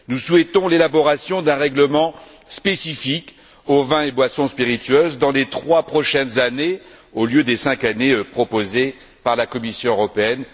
Nous souhaitons l'élaboration d'un règlement spécifique aux vins et boissons spiritueuses dans les trois prochaines années au lieu des cinq années proposées par la Commission européenne.